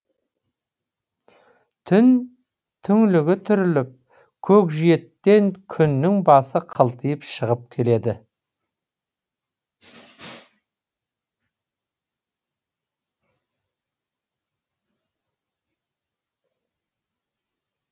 түн түңлігі түріліп көкжиектен күннің басы қылтиып шығып келеді